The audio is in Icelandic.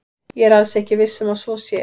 Ég er alls ekki viss um að svo sé.